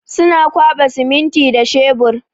Suna kwaɓa siminti da shebur.